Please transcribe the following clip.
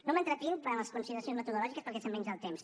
no m’entretinc en les consideracions metodològiques perquè se’m menja el temps